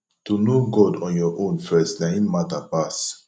to know god on your own first na im mata pass